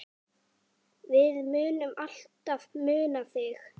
Við munum alltaf muna þig.